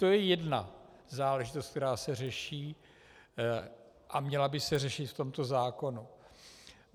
To je jedna záležitost, která se řeší a měla by se řešit v tomto zákonu.